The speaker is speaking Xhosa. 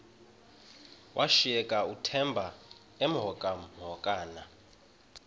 washiyeka uthemba emhokamhokana